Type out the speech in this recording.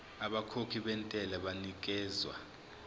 abakhokhi bentela banikezwa